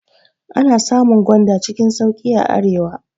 Ana samun gwanda cikin sauƙi a arewa.